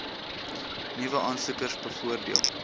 nuwe aansoekers bevoordeel